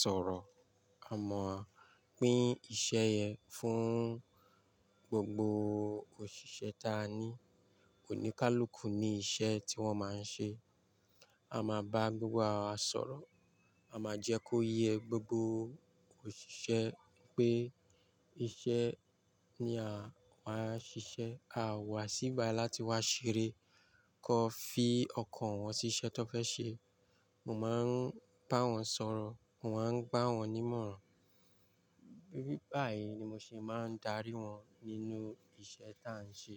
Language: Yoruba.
sọ̀rọ̀, a máa pín iṣẹ́ yẹn fún gbogbo òṣìṣẹ́ taa ní. O ní ká l'òkú ni iṣẹ́ tí wọ́n máa ń ṣe. A máa bá gbogbo ara wa sọ̀rọ̀, a máa jẹ́ kó yẹ gbogbo òṣìṣẹ́ pé iṣẹ́ ni àwa ṣiṣẹ́. A wá sí ibí bayii láti wá ṣeré kó fi ọkàn wọn sí iṣẹ́ tó fẹ́ ṣe. Mo máa ń bá wọn sọ̀rọ̀, mò ń gbá wọn ní ìmọ̀ràn. Tori báyìí ni mo ṣe máa ń darí wọn nínú iṣẹ́ tá ń ṣe.